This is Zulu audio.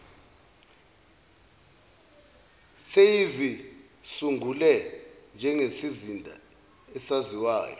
seyizisungule njengesizinda esaziwayo